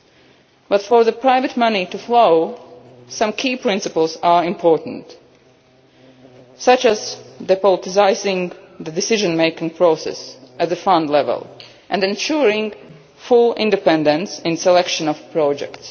But, in order for the private money to flow, some key principles are important, such as depoliticising the decision making process at fund level and ensuring full independence in the selection of